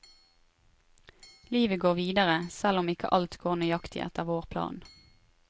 Livet går videre selv om ikke alt går nøyaktig etter vår plan.